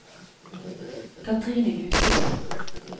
Cathrine Husebø